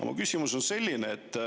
Mu küsimus on selline.